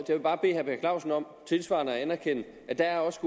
bare bede herre per clausen om tilsvarende at anerkende at der også